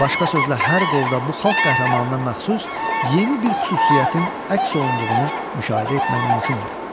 Başqa sözlə, hər qolda bu xalq qəhrəmanına məxsus yeni bir xüsusiyyətin əks olunduğunu müşahidə etmək mümkündür.